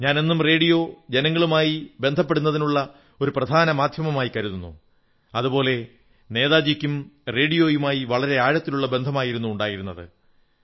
ഞാൻ എന്നും റേഡിയോ ജനങ്ങളുമായി ബന്ധപ്പെടുന്നതിനുള്ള ഒരു പ്രധാനപ്പെട്ട മാധ്യമമായി കരുതുന്നു അതുപോലെ നേതാജിക്കും റോഡിയോയുമായി വളരെ ആഴത്തിലുള്ള ബന്ധമായിരുന്നു ഉണ്ടായിരുന്നത്